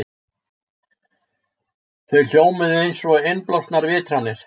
Þau hljómuðu einsog innblásnar vitranir.